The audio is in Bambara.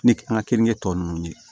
Ni an ka keninke tɔ ninnu ye